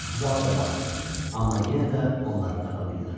Zala da baxdı, amma yenə də onları tapa bilmədi.